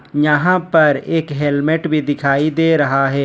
यहां पर एक हेलमेट भी दिखाई दे रहा है।